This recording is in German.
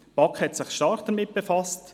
Die BaK hat sich stark damit befasst.